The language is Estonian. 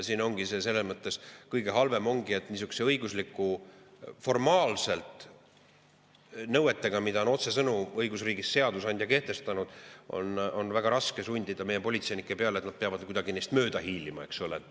Siin ongi kõige halvem see, et niisuguste formaalsete õiguslike nõuete korral, mis on otsesõnu õigusriigis seadusandja kehtestanud, on väga raske sundida meie politseinikke, et nad peavad kuidagi neist mööda hiilima, eks ole.